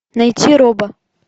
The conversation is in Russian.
найти роба